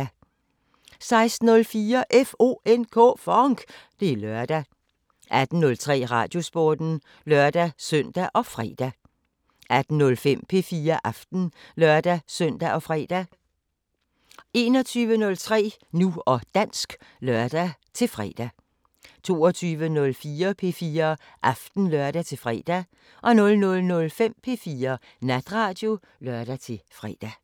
16:04: FONK! Det er lørdag 18:03: Radiosporten (lør-søn og fre) 18:05: P4 Aften (lør-søn og fre) 21:03: Nu og dansk (lør-fre) 22:03: P4 Aften (lør-fre) 00:05: P4 Natradio (lør-fre)